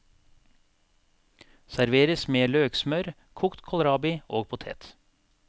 Serveres med løksmør, kokt kålrabi og potet.